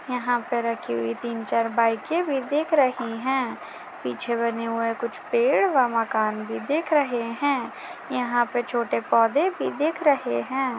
यहाँ पर रखी हुई तीन चार बाइके भी दिख रही हैं पीछे बने हुए कुछ पेड़ व मकान भी दिख रहे हैं यहाँ पे छोटे पौधे भी दिख रहे हैं।